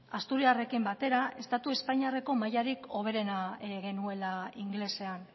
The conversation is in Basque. asturiarrekin batera estatu espainiarreko mailarik hoberena genuela ingelesean